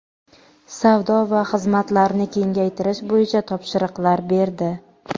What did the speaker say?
savdo va xizmatlarni kengaytirish bo‘yicha topshiriqlar berdi.